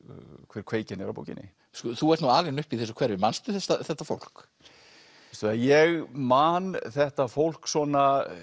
hver kveikjan er að bókinni þú ert nú alinn upp í þessu hverfi manstu þetta fólk veistu ég man þetta fólk svona